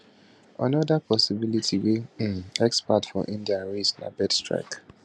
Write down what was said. anoda possibility wey um experts for india raise na bird strike